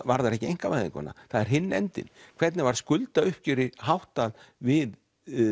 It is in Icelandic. varðar ekki einkavæðinguna það er hinn endinn hvernig var skuldauppgjöri háttað við